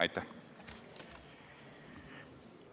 Aitäh!